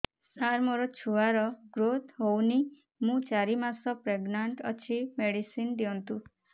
ସାର ମୋର ଛୁଆ ର ଗ୍ରୋଥ ହଉନି ମୁ ଚାରି ମାସ ପ୍ରେଗନାଂଟ ଅଛି ମେଡିସିନ ଦିଅନ୍ତୁ